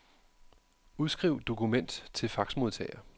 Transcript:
Udskriv dokument til faxmodtager.